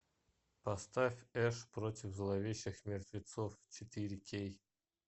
поставь эш против зловещих мертвецов четыре кей